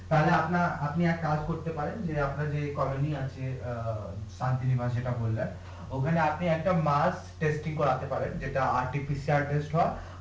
তাহলে আপনা আপনি একটা কাজ করতে পারেন যে আপনার যে আছে অ্যাঁ যেটা বললেন ওখানে আপনি একটা করাতে পারেন যেটা হয়